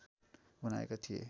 बनाएका थिए